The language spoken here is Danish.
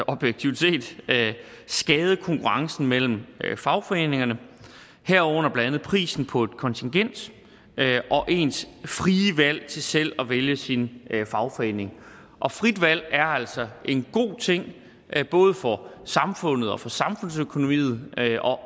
objektivt set skade konkurrencen mellem fagforeningerne herunder blandt andet prisen på et kontingent og ens frie valg til selv at vælge sin fagforening og frit valg er altså en god ting både for samfundet og for samfundsøkonomien